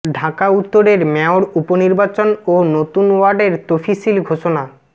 ঢাকা উত্তরের মেয়র উপনির্বাচন ও নতুন ওয়ার্ডের তফিসিল ঘোষণা